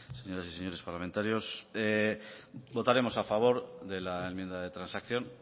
señoras y señores parlamentarios votaremos a favor de la enmienda de transacción